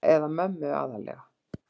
Eða mömmu aðallega.